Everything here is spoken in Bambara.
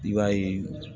I b'a ye